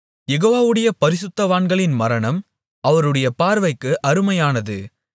யெகோவாவுடைய பரிசுத்தவான்களின் மரணம் அவருடைய பார்வைக்கு அருமையானது